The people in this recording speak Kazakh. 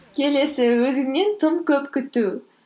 келесі өзіңнен тым көп күту